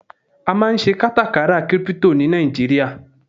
a ma n se katakara crypto ni Naijiria